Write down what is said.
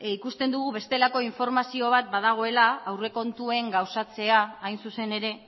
ikusten dugu bestelako informazio bat badagoela aurrekontuen gauzatzea hain zuzen ere